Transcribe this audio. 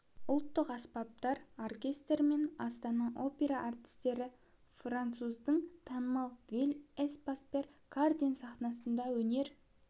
ұлттық аспаптар оркестрі мен астана опера әртістері француздың танымал вилль эспас пьер карден сахнасында өнер